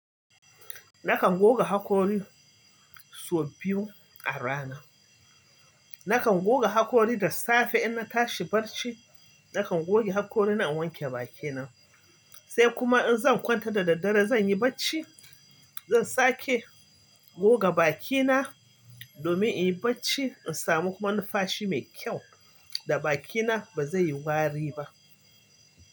Nakan goga hakori sau biyu a rana. Nakan goga hakori da safe in na tashi barci, nakan goge hakori na in wanke bakina. Sai kuma in zan kwanta da daddare zan yi barci, zan sake goga bakina domin in yi barci in samu kuma numfashi mai kyau da bakina ba zai yi wari ba.